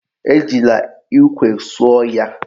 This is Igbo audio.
Ejila ikwe suo ya.